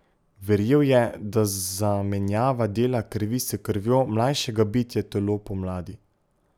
Verjel je, da zamenjava dela krvi s krvjo mlajšega bitja telo pomladi.